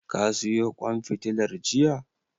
Ka siyo ƙwan fitilar jiya?